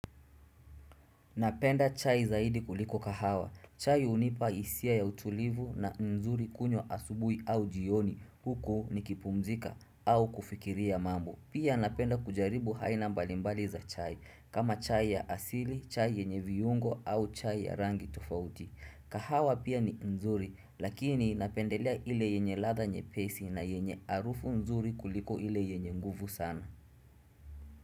Napenda chai zaidi kuliko kahawa. Chai hunipa hisia ya utulivu na ni nzuri kunywa asubuhi au jioni huku nikipumzika au kufikiria mambo. Pia napenda kujaribu haina mbalimbali za chai. Kama chai ya asili, chai yenye viungo au chai ya rangi tofauti. Kahawa pia ni nzuri lakini napendelea ile yenye ladha nyepesi na yenye arufu nzuri kuliko ile yenye nguvu sana.